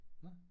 Nå